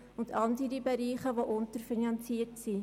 Daneben gibt es andere Bereiche, die unterfinanziert sind.